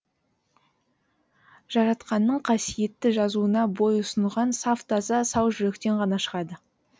жаратқанның қасиетті жазуына бойұсынған саф таза сау жүректен ғана шығады